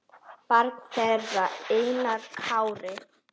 Barn þeirra er Einar Kári.